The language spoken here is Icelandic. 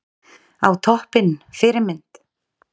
Á toppinn Fyrirmynd?